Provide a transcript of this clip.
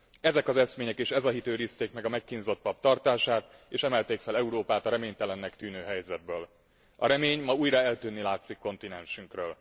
Ezek az eszmények és ez a hit őrizték meg a megkínzott pap tartását, és emelték fel Európát a reménytelennek tűnő helyzetből. A remény ma újra eltűnni látszik kontinensünkről.